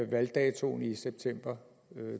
valgdatoen i september